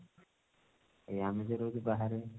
ଏଇ ଆମେ ଯଉ ରହୁଛୁ ବାହାରେ